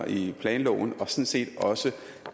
i planloven og sådan set også